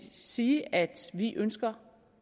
sige at vi ønsker